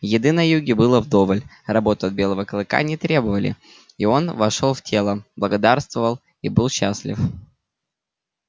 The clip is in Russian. еды на юге было вдоволь работы от белого клыка не требовали и он вошёл в тело благоденствовал и был счастлив